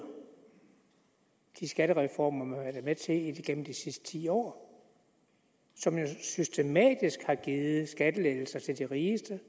de skattereformer man har været med til igennem de sidste ti år som jo systematisk har givet skattelettelser til de rigeste